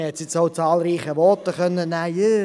Auch zahlreichen Voten konnte entnommen werden: